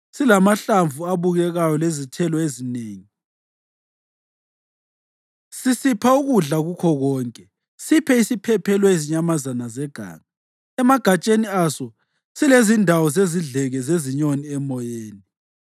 silamahlamvu abukekayo lezithelo ezinengi, sisipha ukudla kukho konke, siphe isiphephelo izinyamazana zeganga, emagatsheni aso silezindawo zezidleke zezinyoni zemoyeni,